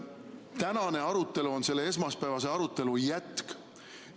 Tänane arutelu on selle esmaspäevase arutelu jätk.